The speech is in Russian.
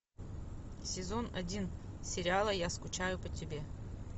сезон один сериала я скучаю по тебе